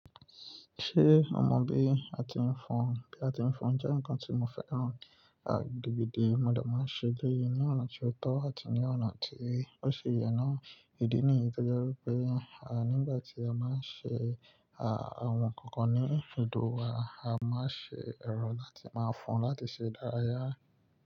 Ṣé o mọ bí a ti ń fọn? Bí a ti ń fọn jẹ́ nǹkan tí mo fẹ́ràn. Àgbègbè mi ọ̀dọ̀ máa ń ṣe gẹ́gẹ́ ní ọ̀nà tí ó tọ́ àti ní ọ̀nà tí ó ṣi yẹn náà. Ìdí nìyí tó jẹ́ wípé, à nígbà tí a máa ń ṣe à won kankan ní ibùdó wa, a máa ń ṣe ẹ̀rọ láti máa fọn láti ṣe ìdárayá.